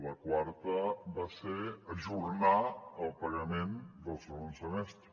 la quarta va ser ajornar el pagament del segon semestre